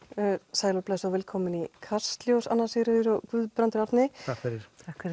sæl og blessuð og velkomin í Kastljós Anna Sigríður og Guðbrandur Árni takk fyrir